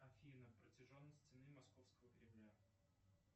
афина протяженность стены московского кремля